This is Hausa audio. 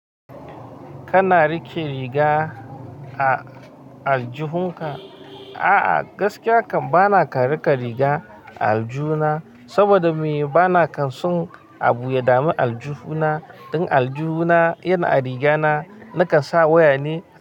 Kana riƙe riga a aljihunka? A'a, gaskiya kam bana kan riƙe riga a aljuhna saboda me? Bana kanson abu yadamin aljuhna. Dan aljuhna yana a riga na, nakan sa waya ne.